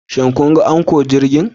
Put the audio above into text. Shin kun ga Anchor jirgin?